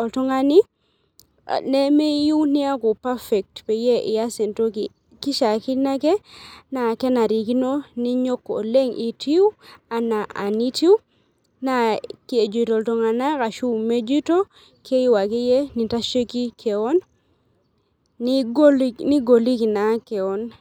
oltungani lemeyiueu niaku perfect pias entoki, kishaakino ake na kenarikino ninyok oleng itiu ana enitiu na kejitol ltunganak ashu mejito keyiu ake nintashieki kewon kigoliki na keon.